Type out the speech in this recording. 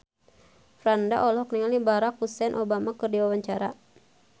Franda olohok ningali Barack Hussein Obama keur diwawancara